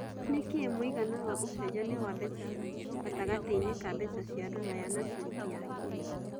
nĩ kĩ mũigana wa ũcenjanĩa wa mbeca gatagatĩinĩ ka mbeca cĩa rũraya na ciringi ya Kenya